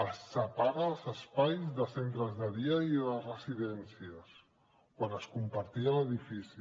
s’apaguen els espais de centres de dia i de residències quan es compartia l’edifici